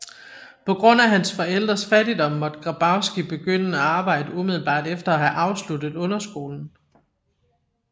På grund af hans forældres fattigdom måtte Grabowski begynde at arbejde umiddelbart efter at have afsluttet underskolen